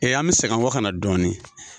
an bɛ segi an kɔ ka na dɔɔni